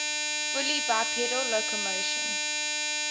fully bipedal locomotion